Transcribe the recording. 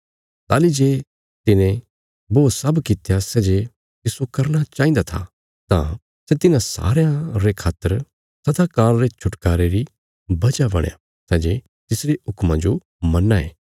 ताहली जे तिने बो सब कित्या सै जे तिस्सो करना चाहिन्दा था तां सै तिन्हां सारयां रे खातर सदा काल रे छुटकारे री वजह बणया सै जे तिसरे हुक्मां जो मन्नां ये